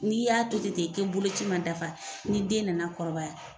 N'i y'a to ten ten n'i bolo ci ma dafa, ni den nana kɔrɔbaya